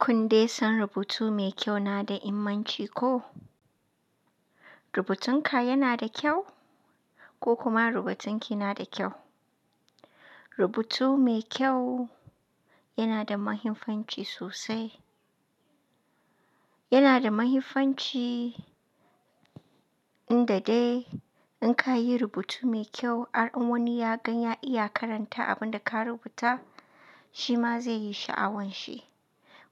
Kundai san rubutu mai kyau na immanci ko? Rubutun ka yana da kyau ko kuma rubutun ki yana da kyau. Rubutu mai kyau yana da mahimmanci sosai. Yana da mahimmanci in da dai in ka yi rubutu mai kyau, an wani ya gan ya iya karanta abin da ka rubuta shi ma zai yi sha'awan shi.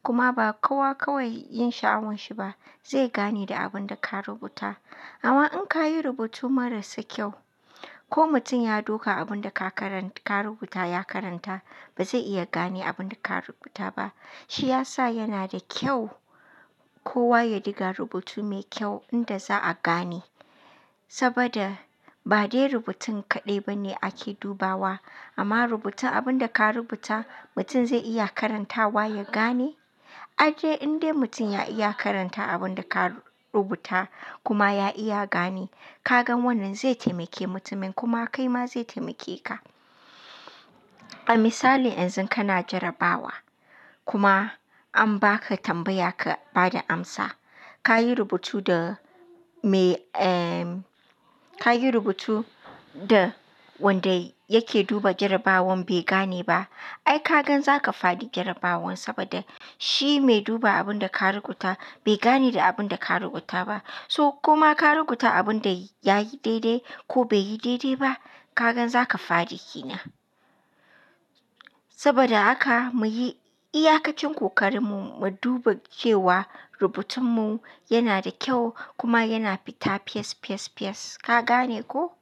Kuma ba kowa kawai yin sha'awan shi ba, zai gane da abin da ka rubuta. Amma in ka yi rubutu marasa kyau ko mutum ya duka abin da ka rubuta ya karanta ba zai iya gane abin da ka rubuta ba. Shi ya sa yana da kyau kowa ya diga rubutu mai kyau inda za'a gane. Saboda ba dai rubutun kaɗai bane ake dubawa amma rubuta abin da ka rubuta mutum zai iya karantawa ya gane. An dai in dai mutum ya iya karanta abin da ka rubuta kuma ya iya gane, ka gan wannan zai taimake mutumin kuma kai ma zai taimake ka. A misali yanzu kana jarabawa kuma an baka tambaya ka ba da amsa. Ka yi rubutu da me ee ka yi rubutu da wanda yake duba jarabawan bai gane ba. Ai ka gan za ka fadi jarabawan saboda shi mai duba abin da ka rubuta bai gane da abin da ka rubuta ba. So kuma ka rubuta abin da ya yi daidai ko bai yi daidai ba, ka gan za ka fadi kina. Saboda haka muyi iyakacin kokarinmu mu duba cewa rubutunmu yana da kyau kuma yana fita fiyes, fiyes, fiyes. Ka gane ko?